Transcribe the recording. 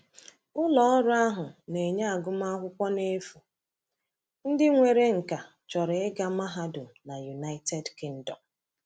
Ụlọọrụ ahụ na-enye agụmakwụkwọ n’efu ndị nwere nkà chọrọ ịga mahadum na United Kingdom.